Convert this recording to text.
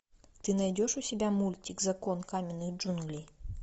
ты найдешь у себя мультик закон каменных джунглей